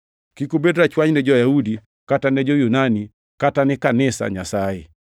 Kik ubed rachwany ni jo-Yahudi, kata ni jo-Yunani, kata ni kanisa Nyasaye,